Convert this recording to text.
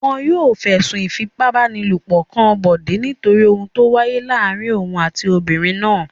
Wọn yóò fẹ̀sùn ìfipábánilòpọ̀ kan Bọ̀dé nítorí ohun tó wáyé láàárin òun àti obìnrin náà.